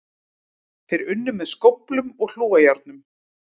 Þeir unnu með skóflum og hlújárnum